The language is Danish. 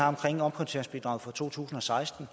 omprioriteringsbidraget for to tusind og seksten